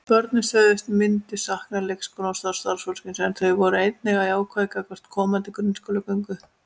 Börnin sögðust myndu sakna leikskólans og starfsfólksins en þau voru einnig jákvæð gagnvart komandi grunnskólagöngu.